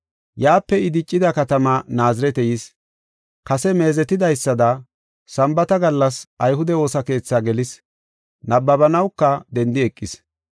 Yaape I diccida katamaa Naazirete yis. Kase meezetidaysada Sambaata gallas ayhude woosa keethi gelis. Nabbabanawuka dendi eqis.